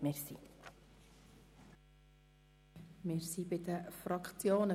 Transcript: Wir kommen zu den weiteren Fraktionen.